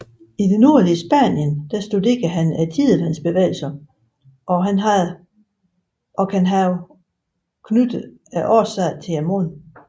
I det nordlige Spanien studerede han tidevandsbevægelserne og kan have knyttet årsagen til månen